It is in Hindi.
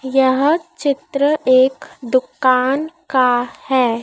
यह चित्र एक दुकान का है।